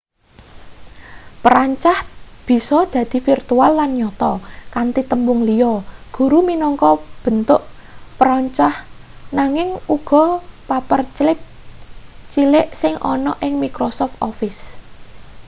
perancah bisa dadi virtual lan nyata kanthi tembung liya guru minangka bentuk perancah nanging uga paperclip cilik sing ana ing microsoft office